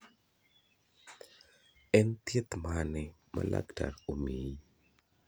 En thieth mane ma laktar omiyi?